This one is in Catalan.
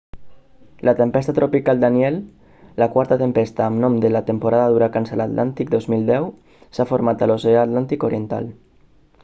la tempesta tropical danielle la quarta tempesta amb nom de la temporada d'huracans a l'atlàntic 2010 s'ha format a l'oceà atlàntic oriental